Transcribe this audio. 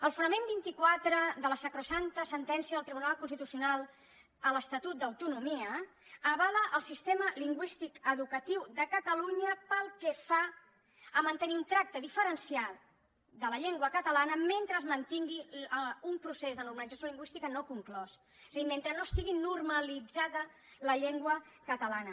el fonament vint quatre de la sacrosanta sentència del tribunal constitucional a l’estatut d’autonomia avala el sistema lingüístic educatiu de catalunya pel que fa a mantenir un tracte diferenciat de la llengua catalana mentre es mantingui un procés de normalització lingüística no conclòs o sigui mentre no estigui normalitzada la llengua catalana